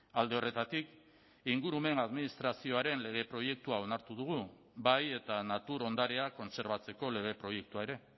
alde horretatik ingurumen administrazioaren lege proiektua onartu dugu bai eta natur ondarea kontserbatzeko lege proiektua ere